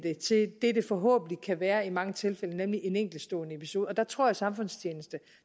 forhåbentlig kan være i mange tilfælde nemlig en enkeltstående episode der tror jeg at samfundstjeneste